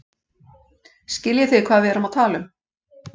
Skiljið þið hvað við erum að tala um.